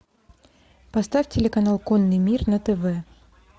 поставь телеканал конный мир на тв